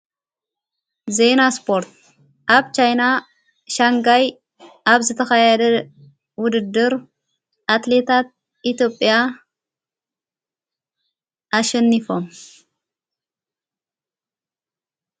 ዘይና ስጶርት ኣብ ካይና ሻንጋይ ኣብ ዘተኸይያደ ውድድር ኣትሌታት ኢቴጵያ ኣሸኒፎም።